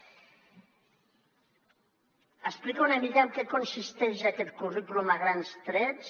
explico una mica en què consisteix aquest currículum a grans trets